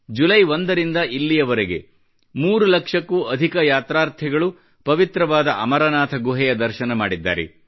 July ಒಂದರಿಂದ ಇಲ್ಲಿಯವರೆಗೆ 3 ಲಕ್ಷಕ್ಕೂ ಅಧಿಕ ಯಾತ್ರಾರ್ಥಿಗಳು ಪವಿತ್ರವಾದ ಅಮರನಾಥ ಗುಹೆಯ ದರ್ಶನ ಮಾಡಿದ್ದಾರೆ